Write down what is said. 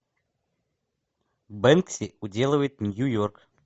бэнкси уделывает нью йорк